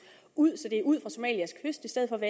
ud så de er ud somalias kyst i stedet